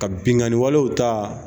Ka bingani walew ta